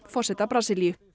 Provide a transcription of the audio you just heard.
forseta Brasilíu